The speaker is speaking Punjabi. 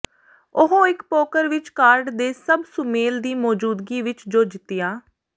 ਉਹ ਇੱਕ ਪੋਕਰ ਵਿਚ ਕਾਰਡ ਦੇ ਸਭ ਸੁਮੇਲ ਦੀ ਮੌਜੂਦਗੀ ਵਿਚ ਜੋ ਜਿੱਤਿਆ